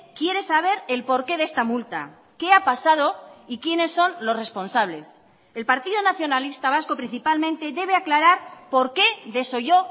quiere saber el porqué de esta multa qué ha pasado y quiénes son los responsables el partido nacionalista vasco principalmente debe aclarar por qué desolló